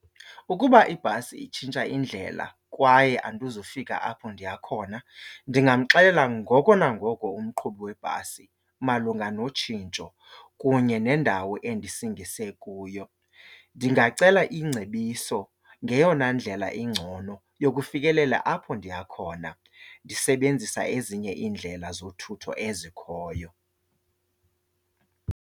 Ukuba ibhasi itshintsha indlela kwaye andizufika apho ndiya khona ndingamxelela ngoko nangoko umqhubi webhasi malunga notshintsho kunye nendawo endisingise kuyo. Ndingacela iingcebiso ngeyona ndlela ingcono yokufikelela apho ndiya khona ndisebenzisa ezinye iindlela zothutho ezikhoyo.